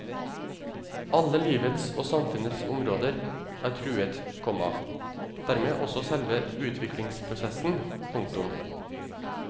Alle livets og samfunnets områder er truet, komma dermed også selve utviklingsprosessen. punktum